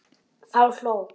Þá hló